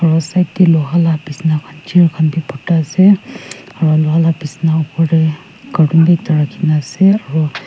aro side de loha la bisna chair khan b borta ase aro loha la bisna opor de carton b ekta rakhi na ase aro--